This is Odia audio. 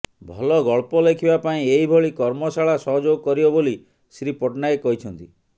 ଭଲ ଗଳ୍ପ ଲେଖିବା ପାଇଁ ଏହିଭଳି କର୍ମଶାଳା ସହଯୋଗ କରିବ ବୋଲି ଶ୍ରୀ ପଟ୍ଟନାୟକ କହିଛନ୍ତି